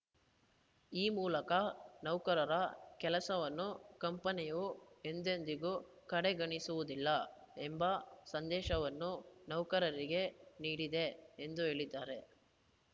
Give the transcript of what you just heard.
ಈ ಮೂಲಕ ನೌಕರರ ಕೆಲಸವನ್ನು ಕಂಪನಿಯು ಎಂದೆಂದಿಗೂ ಕಡೆಗಣಿಸುವುದಿಲ್ಲ ಎಂಬ ಸಂದೇಶವನ್ನು ನೌಕರರಿಗೆ ನೀಡಿದೆ ಎಂದು ಹೇಳಿದ್ದಾರೆ